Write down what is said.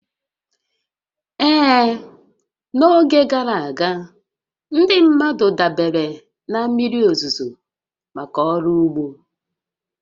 Ee, n'oge gara aga, ndị mmadụ dabeere na mmiri òzùzò maka ọrụ úgbó